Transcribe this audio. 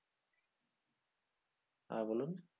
হ্যাঁ বলুন।